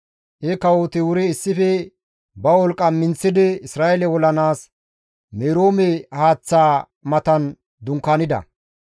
He kawoti wuri issife ba wolqqa minththidi Isra7eele olanaas Meroome haaththaa matan dunkaanida.